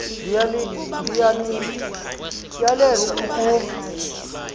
ndiya niyaleza ukuba